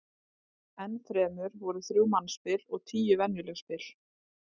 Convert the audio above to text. Enn fremur voru þrjú mannspil og tíu venjuleg spil.